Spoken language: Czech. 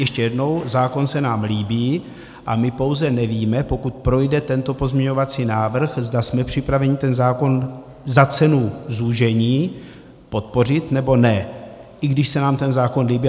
Ještě jednou - zákon se nám líbí a my pouze nevíme, pokud projde tento pozměňovací návrh, zda jsme připraveni ten zákon za cenu zúžení podpořit, nebo ne, i když se nám ten zákon líbí.